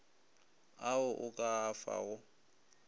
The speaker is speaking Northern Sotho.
ao o ka a fago